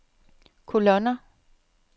kolonner